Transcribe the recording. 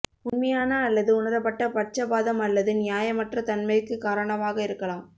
உண்மையான அல்லது உணரப்பட்ட பட்சபாதம் அல்லது நியாயமற்ற தன்மைக்கு காரணமாக இருக்கலாம்